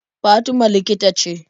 Fatima likita ce.